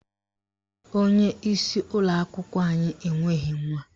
Onyeisi ụlọakwụkwọ anyị enweghị nwa.